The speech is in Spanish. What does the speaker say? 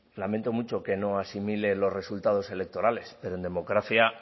lamento mucho que no asimile los resultados electorales pero en democracia